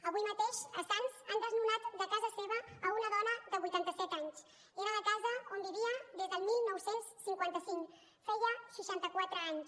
avui mateix a sants han desnonat de casa seva una dona de vuitanta set anys era la casa on vivia des del dinou cinquanta cinc feia seixanta quatre anys